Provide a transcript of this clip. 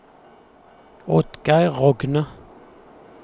Oddgeir Rogne